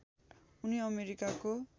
उनी अमेरिकाको